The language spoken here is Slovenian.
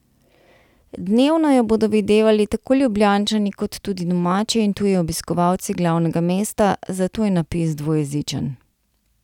Dnevno jo bodo videvali tako Ljubljančani kot tudi domači in tuji obiskovalci glavnega mesta, zato je napis dvojezičen.